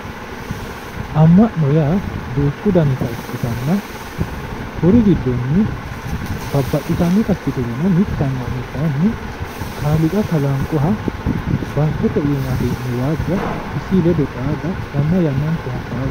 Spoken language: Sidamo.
amma'no yaa duuchu danita ikkitanna kuri giddonni babbaxitannota ikkiturono mitte amma'no kayiinni kaaliiqa kalanqoha baattote iima hee'ne waajja isi ledo xaada yanna yannante hasaawate